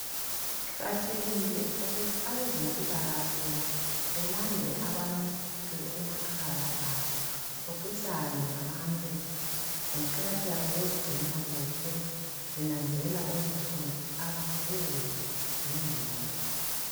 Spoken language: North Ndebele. Kuqakathekile ukuthi abezempilakahle belande abantu emakhaya abo bexoxisane ngabantu ngokuqakatheka kokuzigcina kuhle benanzelela ukuthi khona abaguli ngengqondo.